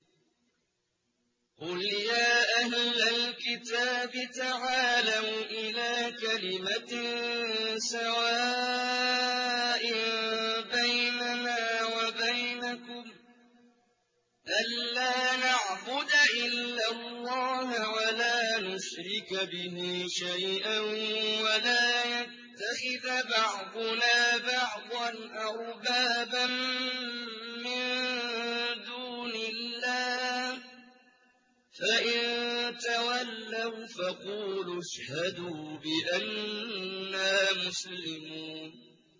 قُلْ يَا أَهْلَ الْكِتَابِ تَعَالَوْا إِلَىٰ كَلِمَةٍ سَوَاءٍ بَيْنَنَا وَبَيْنَكُمْ أَلَّا نَعْبُدَ إِلَّا اللَّهَ وَلَا نُشْرِكَ بِهِ شَيْئًا وَلَا يَتَّخِذَ بَعْضُنَا بَعْضًا أَرْبَابًا مِّن دُونِ اللَّهِ ۚ فَإِن تَوَلَّوْا فَقُولُوا اشْهَدُوا بِأَنَّا مُسْلِمُونَ